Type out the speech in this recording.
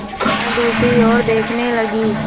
वह दूसरी ओर देखने लगी